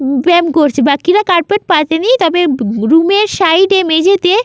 বেয়াম করছে বাকিরা চারপেত পাতেনি তবে রুম -এর সাইড মেঝেতে--